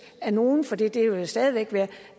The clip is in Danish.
af nogen for det det vil stadig væk